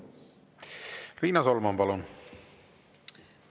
Riina Solman, palun!